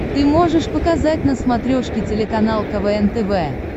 ты можешь показать на смотрешке телеканал квн тв